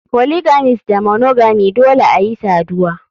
Polygamist da monogamy Dole ayi saduwa.